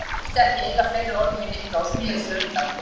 Kamilla vildi ekki eyða fleiri orðum í Nikka og snéri sér undan.